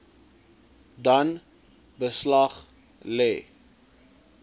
dan beslag lê